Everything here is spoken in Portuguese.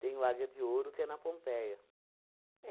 Tem o Águia de Ouro, que é na Pompeia.